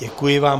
Děkuji vám.